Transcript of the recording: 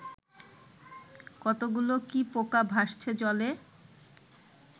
কতকগুলো কি পোকা ভাসছে জলে